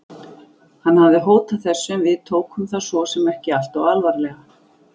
Hann hafði hótað þessu en við tókum það svo sem ekki alltof alvarlega.